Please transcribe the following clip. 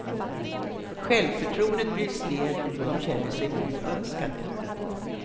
Självförtroendet bryts ned och de känner sig oönskade.